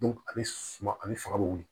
a bɛ suman a bɛ faga bi wili